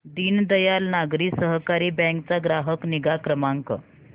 Deendayal Nagari Sahakari bank चा ग्राहक निगा क्रमांक